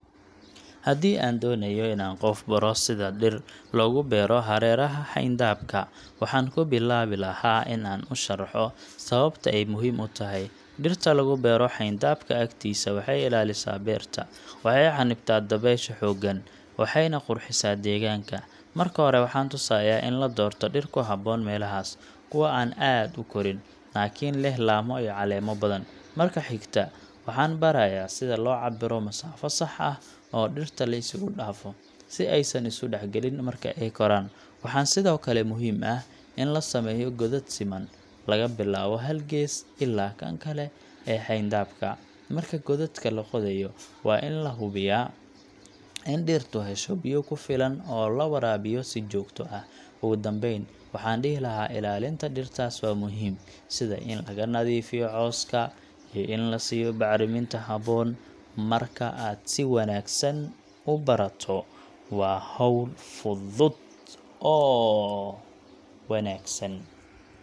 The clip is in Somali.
Haddii aan doonayo inaan qof baro sida dhir loogu beero hareeraha xeyndaabka, waxaan ku bilaabi lahaa in aan u sharaxo sababta ay muhiim u tahay. Dhirta lagu beero xeyndaabka agtiisa waxay ilaalisaa beerta, waxay xannibtaa dabaysha xooggan, waxayna qurxisaa deegaanka. Marka hore, waxaan tusayaa in la doorto dhir ku habboon meelahaas kuwa aan aad u korin, laakiin leh laamo iyo caleemo badan. Marka xigta, waxaan barayaa sida loo cabbiro masaafo sax ah oo dhirta la isugu dhaafo, si aysan u is-dhexgelin marka ay koraan. Waxaa sidoo kale muhiim ah in la sameeyo godad siman, laga bilaabo hal gees ilaa kan kale ee xeyndaabka. Marka godadka la qodayo, waxaa la hubiyaa in dhirtu hesho biyo ku filan oo la waraabiyo si joogto ah. Ugu dambeyn, waxaan dhihi lahaa ilaalinta dhirtaas waa muhiim, sida in laga nadiifiyo cawska iyo in la siiyo bacriminta habboon. Marka aad si wanaagsan u barato, waa hawl fudud oo waxtar leh.